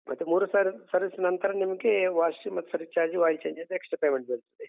ಮತ್ತೆ ಮೂರು ಸಾರಿ service ನಂತರ ನಿಮ್ಗೆ wash ಮತ್ತು service charge oil charge ಅಂತ extra payment ಬೀಳ್ತದೆ.